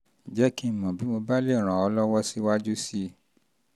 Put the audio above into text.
jẹ́ kí n jẹ́ kí n mọ̀ bí mo bá lè ràn ọ́ lọ́wọ́ síwájú sí i um